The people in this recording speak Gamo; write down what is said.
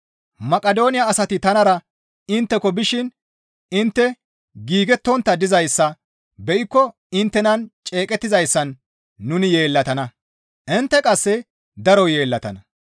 Maqidooniya asati tanara intteko bishin intte giigettontta dizayssa be7ikko inttenan ceeqettizayssan nuni yeellatana; intte qasse daro yeellatana.